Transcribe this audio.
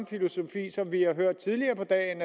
filosofi som vi har hørt tidligere på dagen